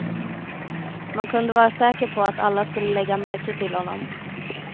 Man kunde vara säker på att alla skulle lägga märke till honom.